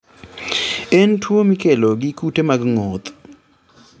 En tuwo mikelo gi kute mag ng'oth